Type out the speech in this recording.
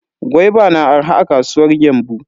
Gwaiba na arha a kasuwar Gembu.